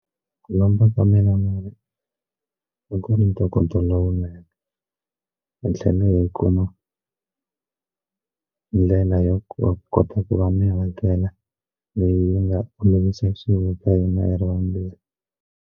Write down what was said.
Ku lomba ka mina mali hi ku ni ntokoto lowunene hi tlhele yi kuma ndlela yo kota ku va mi hakela leyi nga ka hina hi ri vambirhi.